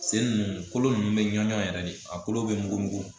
Sen ninnu kolo ninnu bɛ ɲɔn yɛrɛ de a kolo bɛ mugu mugu